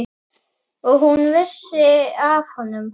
Og hún vissi af honum.